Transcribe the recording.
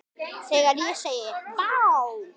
Þegar ég segi: Vá!